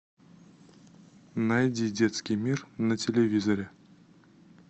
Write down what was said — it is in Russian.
найди детский мир на телевизоре